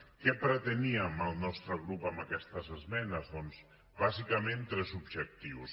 què preteníem el nostre grup amb aquestes esmenes doncs bàsicament tres objectius